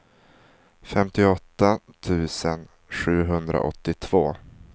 femtioåtta tusen sjuhundraåttiotvå